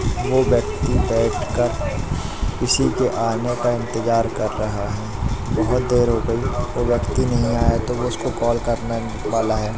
वो व्यक्ति बैठकर किसी के आने का इंतजार कर रहा है बहुत देर हो गई वो व्यक्ति नहीं आया तो वो उसको कॉल करने वाला है।